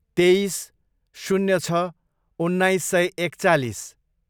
तेइस, शून्य छ, उन्नाइस सय एकचालिस